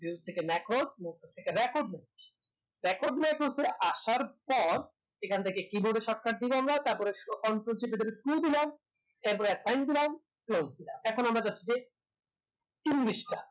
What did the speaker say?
views থেকে macros আসার পর এখান থেকে keyboard এ shortcut দিব আমরা তার পর crontrol চেপে ধরে two দিলাম এর পরে one দিলাম close এখন আমরা যাচ্ছি চল্লিশটা